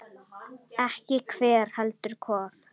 Ekki hver, heldur hvað.